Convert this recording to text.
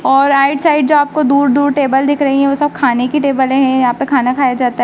और right side जो आपको दूर दूर टेबल दिख रही है वो सब खाने की टेबले है। यहां पे खाना खाया जाता--